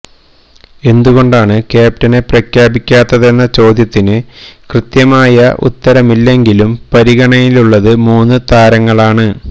എന്തുകൊണ്ടാണ് ക്യാപ്റ്റനെ പ്രഖ്യാപിക്കാത്തതെന്ന ചോദ്യത്തിന് കൃത്യമായ ഉത്തരമില്ലെങ്കിലും പരിഗണയിലുള്ളത് മൂന്നു താരങ്ങളാണ്